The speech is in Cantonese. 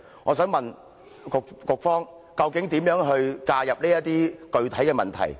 我想問局方究竟如何介入這些具體問題？